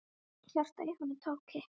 Hjartað í honum tók kipp.